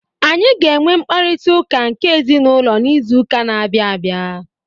Anyị ga-enwe mkparịta ụka nke ezinụlọ n'izu ụka na-abịa abịa.